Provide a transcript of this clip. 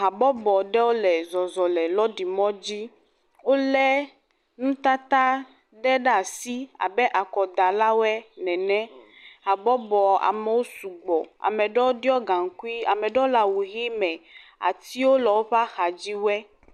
Habɔbɔ ɖewo le zɔzɔ le lɔɖimɔdzi wolé nutata ɖe ɖe asi abe akɔdalawo nene, habɔbɔ amewo sugbɔ, ame ɖewo ɖɔ gaŋkui ame ɖewo le awu ʋe me, atiwo le woƒe axa dziwe.